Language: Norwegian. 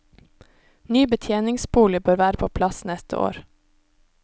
Ny betjeningsbolig bør være på plass neste år.